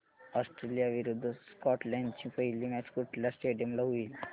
Australia विरुद्ध Scotland ची पहिली मॅच कुठल्या स्टेडीयम ला होईल